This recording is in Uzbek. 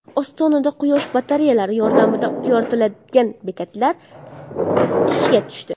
Ostonada quyosh batareyalari yordamida yoritiladigan bekatlar ishga tushdi.